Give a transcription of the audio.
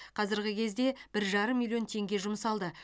қазіргі кезде бір жарым миллион теңге жұмсалды